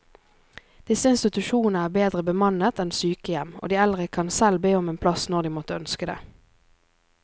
Disse institusjonene er bedre bemannet enn sykehjem, og de eldre kan selv be om en plass når de måtte ønske det.